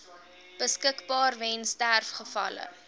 beskikbaar weens sterfgevalle